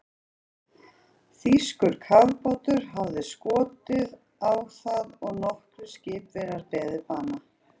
Þýskur kafbátur hafði skotið á það og nokkrir skipverjar beðið bana.